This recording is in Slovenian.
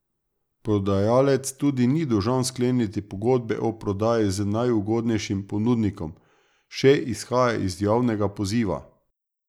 Prodajalec tudi ni dolžan skleniti pogodbe o prodaji z najugodnejšim ponudnikom, še izhaja iz javnega poziva.